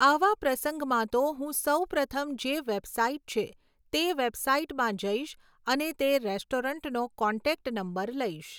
આવા પ્રસંગમાં તો હું સૌ પ્રથમ જે વૅબસાઈટ છે, તે વૅબસાઈટમાં જઈશ અને તે રૅસ્ટોરેન્ટનો કૉન્ટેક્ટ નંબર લઈશ.